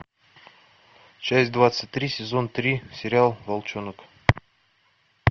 часть двадцать три сезон три сериал волчонок